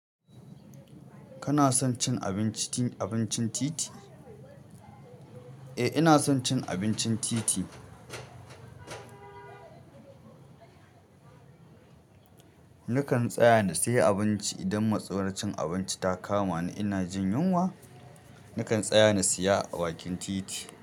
Kana son cin abincin titi? Eh, ina son cin abincin titi. Nakan tsaya na siya abinci idan matsawae cin abinci ta kama ni ina jin yunwa, nakan tsaya na siya a bakin titi.